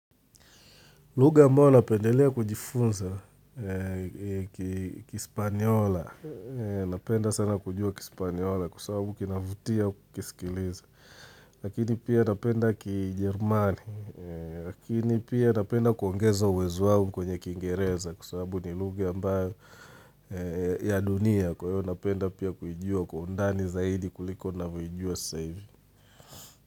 Lugha ambayo napendelea kujifunza ni kispanyola, napenda sana kujua kispanyola kwasawabu kinavutia kukisikiliza. Lakini pia napenda kijerumani, lakini pia napenda kuongeza uwezo wangu kwenye kingereza kwa sababu ni lugha ambayo ya dunia kwa hiyo napenda pia kuijua kwa undani zaidi kuliko navyoijua sasa hivi.